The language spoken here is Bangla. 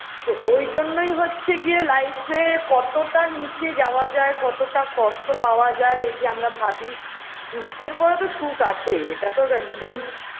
তো ওই জন্যই হচ্ছে গিয়ে life -এ কতটা নীচে যাওয়া যায় কতটা কষ্ঠ পাওয়া যায় এই যে আমরা ভাবি দুঃখের পরে তো সুখ আছেই এটা তো একদম